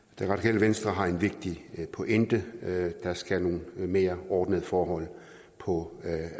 det radikale venstre har en vigtig pointe der skal nogle mere ordnede forhold på